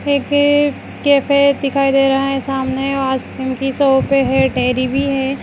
एक अ कैफे दिखाई दे रहा है सामने आसकिम की सोप है टैडी भी है।